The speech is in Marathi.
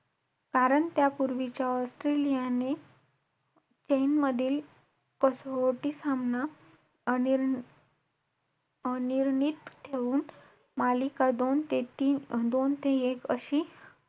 आणि एकोणतीसयेत Android मध्ये. तीस पैकी